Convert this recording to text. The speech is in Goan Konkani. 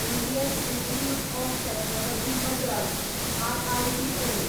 Indian institute of technology Madras IITM